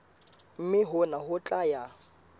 mme hona ho tla ya